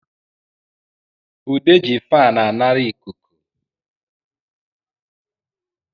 Ude ji faanu anara ịkụkụ